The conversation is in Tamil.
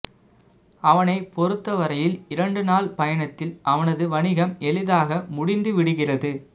அவனைப் பொறுத்தவரையில் இரண்டு நாள் பயணத்தில் அவனது வணிகம் எளிதாக முடிந்துவிடுகிறது